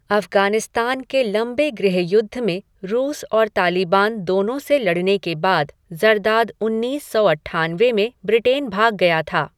अफ़गानिस्तान के लंबे गृहयुद्ध में रूस और तालिबान दोनों से लड़ने के बाद ज़रदाद उन्नीस सौ अट्ठानवे में ब्रिटेन भाग गया था।